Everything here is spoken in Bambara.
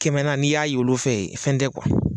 Kɛmɛna n'i y'a y'olu fe ye fɛn tɛ